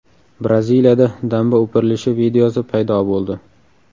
Braziliyada damba o‘pirilishi videosi paydo bo‘ldi .